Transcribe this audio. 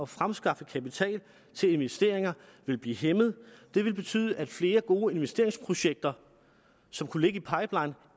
fremskaffe kapital til investeringer vil blive hæmmet det vil betyde at flere gode investeringsprojekter som kunne ligge i pipelinen